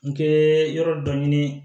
N kɛ yɔrɔ dɔ ɲini